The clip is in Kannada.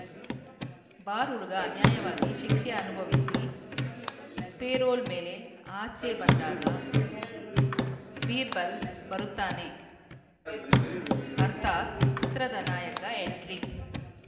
ಬಾರ್‌ ಹುಡುಗ ಅನ್ಯಾಯವಾಗಿ ಶಿಕ್ಷೆ ಅನುಭವಿಸಿ ಪೆರೋಲ್‌ ಮೇಲೆ ಆಚೆ ಬಂದಾಗ ಬೀರ್‌ಬಲ್‌ ಬರುತ್ತಾನೆ ಅರ್ಥಾತ್‌ ಚಿತ್ರದ ನಾಯಕ ಎಂಟ್ರಿ